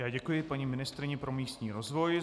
Já děkuji paní ministryni pro místní rozvoj.